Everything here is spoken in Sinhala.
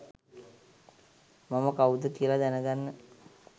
මම කවුද කියල දැනගන්න.